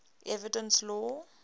evidence law